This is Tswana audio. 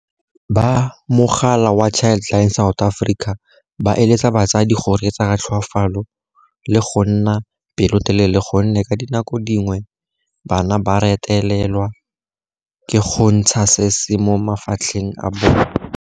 Ba mogala wa Childline South Africa ba eletsa batsadi go reetsa ka tlhoafalo le go nna pelotelele gonne ka dinako di ngwe bana ba retelelwa ke go ntsha se se mo mafatlheng a bona.